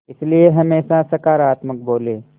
इसलिए हमेशा सकारात्मक बोलें